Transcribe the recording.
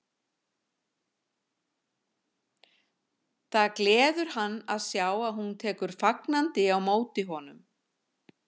Það gleður hann að sjá að hún tekur fagn- andi á móti honum.